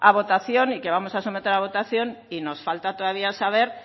votación y que vamos a someter a votación y nos falta todavía saber